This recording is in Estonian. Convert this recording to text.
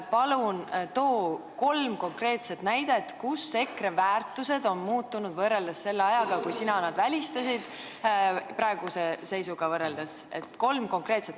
Palun too kolm konkreetset näidet, et EKRE väärtused on muutunud võrreldes selle ajaga, kui sina nad välistasid!